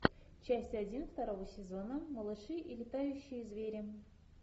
часть один второго сезона малыши и летающие звери